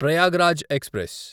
Prayagraj express